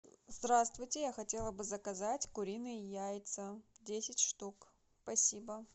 здравствуйте я хотела бы заказать куриные яйца десять штук спасибо